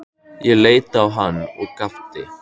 Ég leit á hann og gapti.